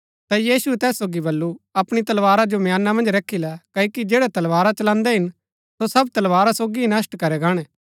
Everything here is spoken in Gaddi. ता यीशुऐ तैस सोगी बल्लू अपणी तलवारा जो म्याना मन्ज रखी लै क्ओकि जैड़ै तलवारा चलान्‍दै हिन सो सब तलवारा सोगी ही नष्‍ट करै गाणै